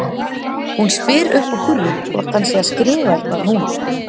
Hún spyr upp úr þurru hvort hann sé að skrifa eitthvað núna.